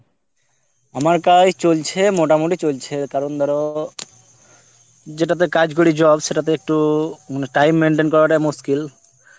আমার কাজ চলছে মোটা মুটি চলছে কারণ ধর যেটা তে কাজ করি জ~ সেটা তে একটু মানে time maintain করা টা মুস্কিল